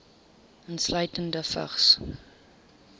insluitende vigs